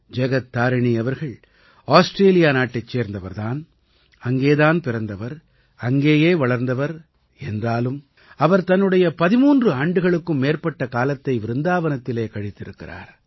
ஜகத் தாரிணீ அவர்கள் ஆஸ்ட்ரேலியா நாட்டைச் சேர்ந்தவர் தான் அங்கே தான் பிறந்தவர் அங்கேயே வளர்ந்தவர் என்றாலும் அவர் தன்னுடைய 13 ஆண்டுகளுக்கும் மேற்பட்ட காலத்தை விருந்தாவனத்திலே கழித்திருக்கிறார்